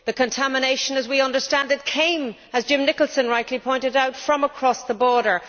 The contamination, as we understand it, came as Jim Nicholson rightly pointed out from across the border.